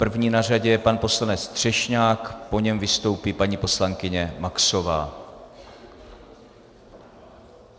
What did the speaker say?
První na řadě je pan poslanec Třešňák, po něm vystoupí paní poslankyně Maxová.